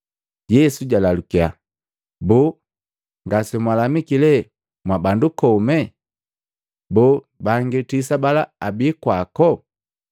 Yesu jalalukya, “Boo, ngase mwalamiki lee mwa bandu kome? Boo bangi tisa bala abi kwako?